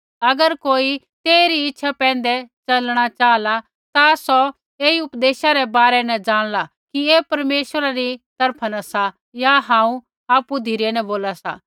अगर कोई तेइरी इच्छा पैंधै च़लणा चाहला ता सौ ऐई उपदेशा रै बारै न जाणला कि ऐ परमेश्वरा री तरफा न सा या हांऊँ आपु धिरै न बोला सा